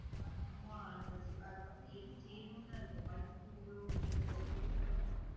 அப்ப அதுக்கப்புறம் என்ன செய்யணும்னு தான் இருக்கும் படுத்துதூங்கணும், இல்ல சோம்பேறித்தனமா இருக்காது.